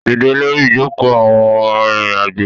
Dídẹ lórí ìjoko àwọn arìnrìn-àjò